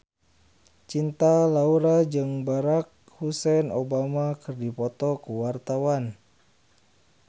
Cinta Laura jeung Barack Hussein Obama keur dipoto ku wartawan